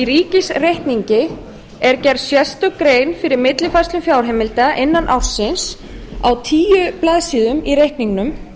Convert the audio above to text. ríkisreikningi er gerð sérstök grein fyrir millifærslu fjárheimilda innan ársins á tíu blaðsíðum í reikningnum